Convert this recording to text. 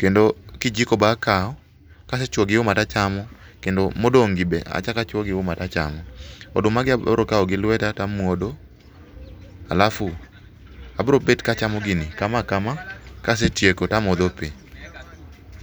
kendo kijiko be akawo kase chuoyo gi uma to achamo. Kendo modong' gi be achako achuoyo gi uma to achamo. Odumagi be abiro kawo gi lweta to amuodo alafu abiro bet ka achamo gini kama, ka asetieko to amodho pi.